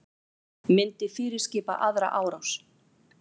Myndi fyrirskipa aðra árás